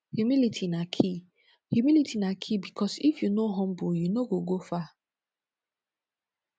humility na key humility na key bikos if yu no humble yu no go go far